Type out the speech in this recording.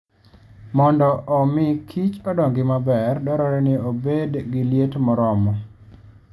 Mondo omi kich odongi maber, dwarore ni obed gi liet moromo.